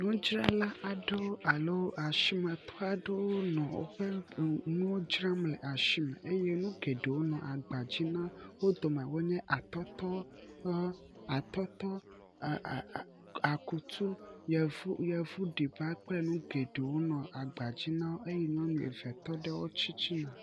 ŋudzrala aɖewo alo asimetɔ aɖewo nɔ wóƒe enuwo dzram le asime eye nugeɖewo nɔ agbadzi nawo wo dome enye atɔtɔ atɔtɔ e e e akutu e e yevu ɖiba nɔ agbadzi nawo eye nyɔnu eve tɔɖe wóƒe titina